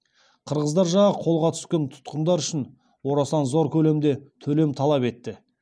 қырғыздар жағы қолға түскен тұтқындар үшін орасан зор көлемде төлем талап етті